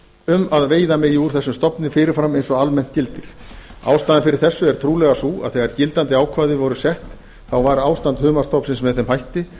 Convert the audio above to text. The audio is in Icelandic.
um að veiða megi úr þessum stofni fyrir fram eins og almennt gildir ástæðan fyrir þessu er trúlega sú að þegar gildandi ákvæði voru sett var ástand humarstofnsins með þeim hætti að